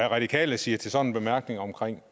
radikale siger til sådan en bemærkning om